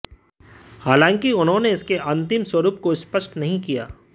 हालांकि उन्होंने इसके अंतिम स्वरूप को स्पष्ट नहीं किया